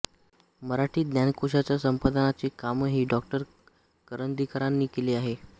मराठी ज्ञानकोशाच्या संपादनाचे कामही डॉ करंदीकरांनी केले आहे